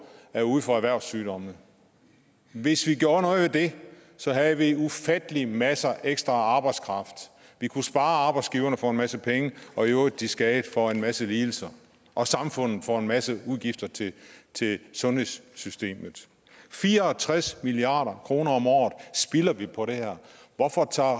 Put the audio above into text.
er ude for erhvervssygdomme hvis vi gjorde noget ved det havde vi ufattelig masser af ekstra arbejdskraft vi kunne spare arbejdsgiverne for en masse penge og i øvrigt de skadede for en masse lidelser og samfundet for en masse udgifter til til sundhedssystemet fire og tres milliard kroner om året spilder vi på det her hvorfor tager